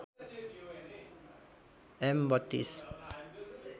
am ३२